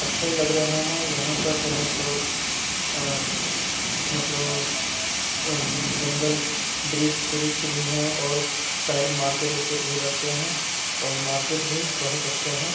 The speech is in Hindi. अच्छे लग रहे है यहाँ पर जो है सो अ मतलब उम जंगल वृक्ष-उरीक्ष भी है और साइड में मार्केट उर्केट भी लगते हैं और मार्केट भी बोहोत अच्छे हैं।